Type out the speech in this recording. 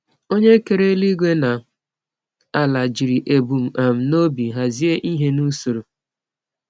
Onye kere eluigwe na ala jiri ebum um n’obi hazie ihe n’usoro.